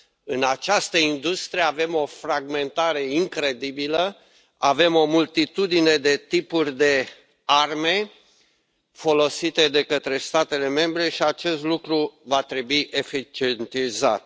în această industrie avem o fragmentare incredibilă, avem o multitudine de tipuri de arme folosite de către statele membre și acest lucru va trebui eficientizat.